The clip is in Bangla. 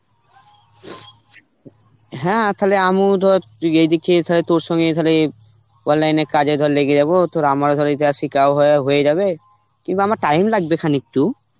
হ্যাঁ খালে আমুও তোর তুই এদিকে এছাড়া তোর সঙ্গে এখানে online এ কাজে ধর লেগে যাব তোর আমার ধর এই যা শিখাও হয়া~ হয়ে যাবে, কিংবা আমার time লাগবে খানিকটু